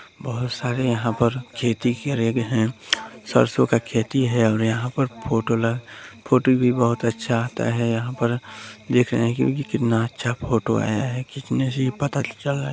बहोत सारे यहाँ पर खेती करे गए है और सरसो का खेती है और यहाँ पर फोटो ल फोटो भी बहोत अच्छा आता है यहाँ पर देख रहे है कि कितना अच्छा फोटो आय्या है खींचने से ही पता चल रहा है।